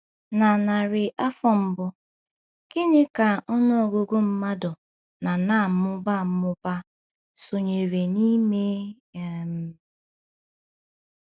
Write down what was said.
Na narị afọ mbụ, gịnị ka ọnụ ọgụgụ mmadụ na na - amụba amụba sonyere n’ime um?